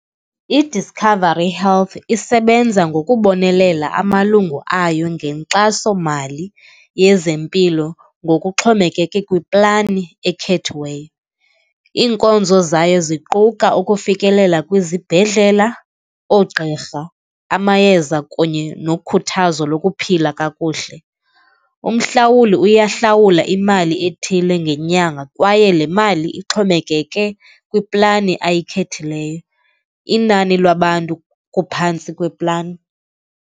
IDiscovery Health isebenza ngokubonelela amalungu ayo ngenkxasomali yezempilo, ngokuxhomekeke kwiplani ekhethiweyo. Iinkonzo zayo ziquka ukufikelela kwizibhedlela, oogqirha, amayeza kunye nokhuthazo lokuphila kakuhle. Umhlawuli uyahlawula imali ethile ngenyanga kwaye le mali ixhomekeke kwiplani ayikhethileyo, inani labantu kuphantsi kweplani.